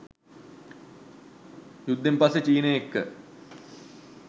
යුද්දෙන් පස්සේ චීනය එක්ක